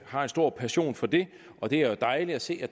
har en stor passion for det og det er jo dejligt at se at